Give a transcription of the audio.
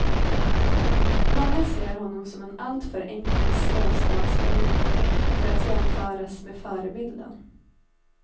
Många ser honom som en alltför enkel småstatspolitiker för att jämföras med förebilden.